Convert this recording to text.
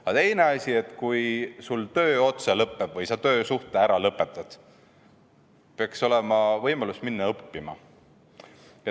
Ja teine asi: kui sul töö otsa lõppeb või sa töösuhte ära lõpetad, siis peaks olema võimalus minna õppima.